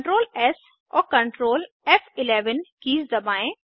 Ctrl S और Ctrl फ़11 keys दबाएँ